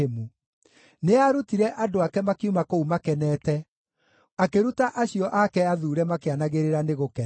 Nĩaarutire andũ ake makiuma kũu makenete, akĩruta acio ake athuure makĩanagĩrĩra nĩ gũkena;